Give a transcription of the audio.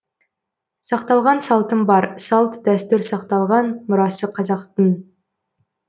сақталған салтым бар салт дәстүр сақталған мұрасы қазақтың